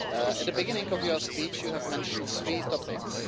At the beginning of your speech you have mentioned three topics.